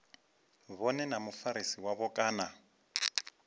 vhone na mufarisi wavho kana